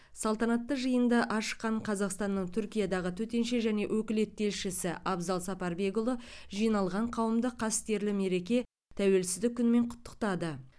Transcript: салтанатты жиынды ашқан қазақстанның түркиядағы төтенше және өкілетті елшісі абзал сапарбекұлы жиналған қауымды қастерлі мереке тәуелсіздік күнімен құттықтады